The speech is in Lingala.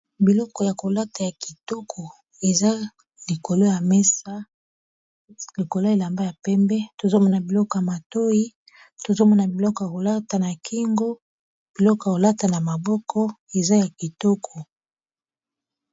biloko ya kolata ya kitoko eza likolo ya mesa likolo elamba ya pembe tozomona biloko ya matoi tozomona biloko ya kolata na kingo biloko kolata na maboko eza ya kitoko